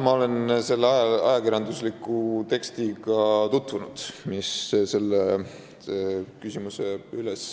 Ma olen tutvunud selle ajakirjandusliku tekstiga, mis selle küsimuse üles